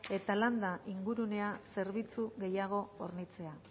eta landa ingurunea zerbitzu gehiago hornitzea